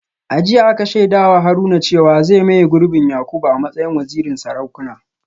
A jiya aka shaida wa Haruna cewa zai maye gurbin Yakubu a matsayin wazirin Sarakuna